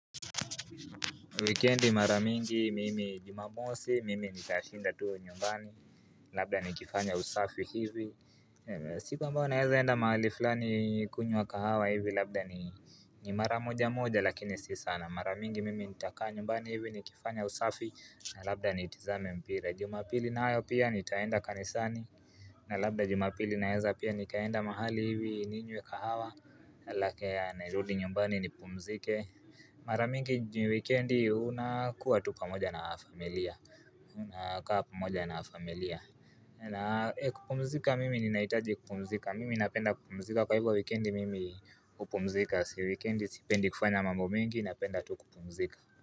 Wikendi maramingi mimi jumamosi, mimi nitashinda tu nyumbani, labda nikifanya usafi hivi siku ambao naeza enda mahali fulani kunywa kahawa hivi labda ni mara moja moja lakini si sana Maramingi mimi nitakaa nyumbani hivi nikifanya usafi na labda nitizame mpira Juma pili na ayo pia nitaenda kanisani na labda juma pili naeza pia nikaenda mahali hivi ninywe kahawa alafu nerudi nyumbani nipumzike Maramingi njini weekendi unakuwa tu pamoja na familia Unakaa pamoja na familia kupumzika mimi ni nahitaji kupumzika Mimi napenda kupumzika kwa hivyo weekendi mimi kupumzika Si weekendi sipendi kufanya mambo mingi napenda tu kupumzika.